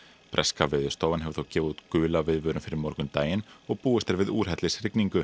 breska Veðurstofan hefur þó gefið út gula viðvörun fyrir morgundaginn og búist er við úrhellisrigningu